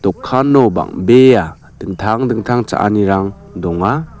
bang·bea dingtang dingtang cha·anirang donga.